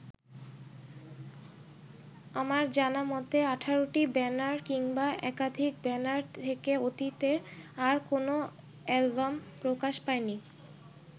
আমার জানামতে ১৮টি ব্যানার কিংবা একাধিক ব্যানার থেকে অতীতে আর কোনো অ্যালবাম প্রকাশ পায়নি।